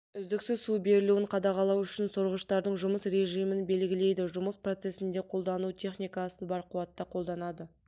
үздіксіз су берілуін қадағалау үшін сорғыштардың жұмыс режимін белгілейді жұмыс процесінде қолданылу техникасын бар қуатта қолданады